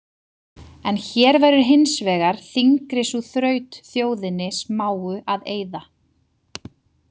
En hér verður hins vegar þyngri sú þraut þjóðinni smáu að eyða.